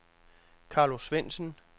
Carlo Svendsen